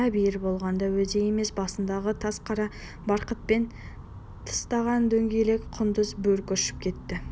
әбиір болғанда өзі емес басындағы тас қара барқытпен тыстаған дөңгелек құндыз бөркі ұшып кетті